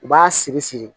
U b'a siri siri